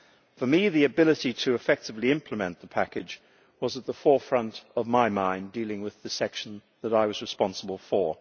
For me the ability to effectively implement the package was at the forefront of my mind when I was dealing with the section that I was responsible for.